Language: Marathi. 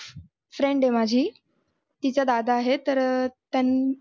friend आहे माझी तिचा दादा आहे तर अं त्यान